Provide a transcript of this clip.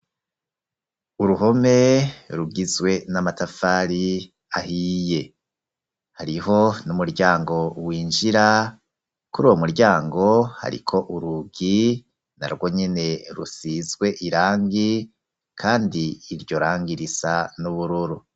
Uruhome rugizwe n'amatafari ahiye, hariho n'umuryango w'injira ku ri wo muryango, hariko urugi na rwo nyene rusizwe irangi, kandi iryo rangi risa n'ubururu.